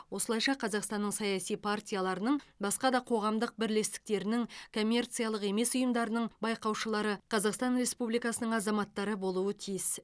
осылайша қазақстанның саяси партияларының басқа да қоғамдық бірлестіктерінің коммерциялық емес ұйымдарының байқаушылары қазақстан республикасының азаматтары болуы тиіс